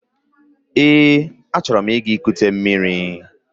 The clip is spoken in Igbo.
Eé, achọrọ m ịga kute mmiri.